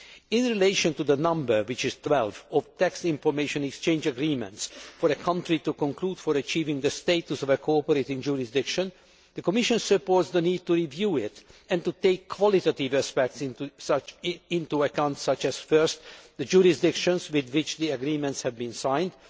In relation to the number which is 12 of tax information exchange agreements for a country to conclude for achieving the status of a cooperating jurisdiction, the Commission supports the need to review it and to take qualitative aspects into account such as, firstly, the jurisdictions with which the agreements have been signed.